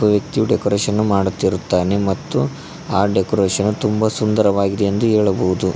ಒ ವ್ಯಕ್ತಿ ಡೆಕೋರೇಷನು ಮಾಡುತ್ತಿರುತ್ತಾನೆ ಮತ್ತು ಡೆಕೋರೇಷನು ತುಂಬಾ ಸುಂದರವಾಗಿದೆ ಎಂದು ಹೇಳಬಹುದು.